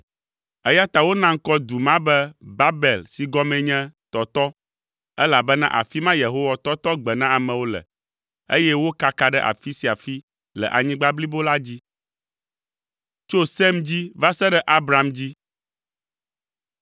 Eya ta wona ŋkɔ du ma be Babel si gɔmee nye, “Tɔtɔ,” elabena afi ma Yehowa tɔtɔ gbe na amewo le, eye wokaka ɖe afi sia afi le anyigba blibo la dzi.